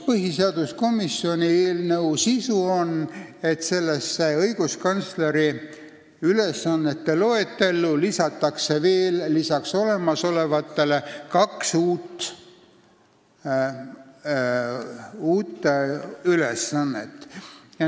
Põhiseaduskomisjoni eelnõu sisu on see, et õiguskantsleri ülesannete loetellu lisatakse olemasolevatele kaks uut ülesannet.